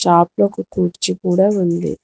లోపల ఒక కుర్చీ కూడా ఉంది.